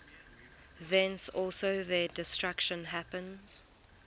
thence also their destruction happens